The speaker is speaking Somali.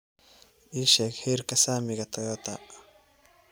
ii sheeg heerka saamiga toyota